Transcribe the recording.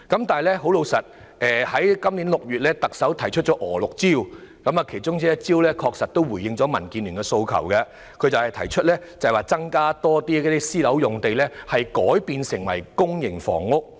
特首在今年6月提出"娥六招"，其中一招確實回應了民建聯的訴求，就是把更多私人樓宇用地改建為公營房屋。